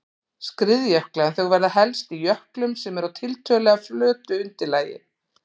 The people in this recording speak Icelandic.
skriðjökla en þau verða helst í jöklum sem eru á tiltölulega flötu undirlagi.